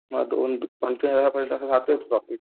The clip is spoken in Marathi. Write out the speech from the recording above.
मग दोन राहतोयच प्रॉफिट.